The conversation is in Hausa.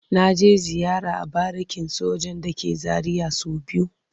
Na je ziyara a barikin sojan da ke Zaria so biyu.